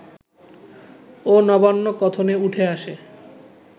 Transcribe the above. ও নবান্ন কথনে উঠে আসে